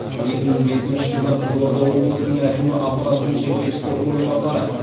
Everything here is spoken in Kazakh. екі мың бесінші жылдан қызылорда облысының әкімі аппаратының жетекшісінің орынбасары